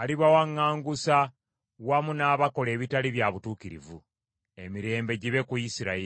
alibawaŋŋangusa wamu n’abakola ebitali bya butuukirivu. Emirembe gibe ku Isirayiri.